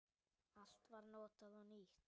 Allt var notað og nýtt.